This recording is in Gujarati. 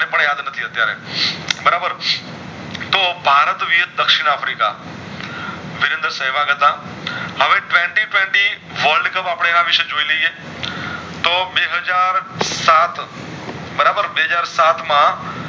તો ભારત vs દક્ષિણ આફ્રિકા વિજેતાંક સેવક કરતા હવે Twenty Twenty World Cup અપડે એના વિશે જોય લએ તો બે હાજર સાત બરાબર બે હાજર સાત માં